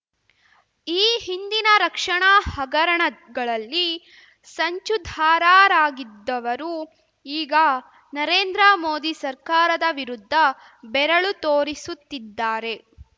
ಈ ಹಿಂದಿನ ರಕ್ಷಣಾ ಹಗರಣಗಳಲ್ಲಿ ಸಂಚುಧಾರಾರಾಗಿದ್ದವರು ಈಗ ನರೇಂದ್ರ ಮೋದಿ ಸರ್ಕಾರದ ವಿರುದ್ಧ ಬೆರಳು ತೋರಿಸುತ್ತಿದ್ದಾರೆ